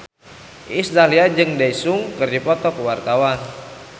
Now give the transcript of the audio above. Iis Dahlia jeung Daesung keur dipoto ku wartawan